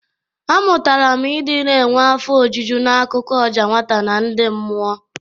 Amụtara m ị dị na-enwe afọ ojuju n'akụkọ ọja nwata na ndị mmụọ.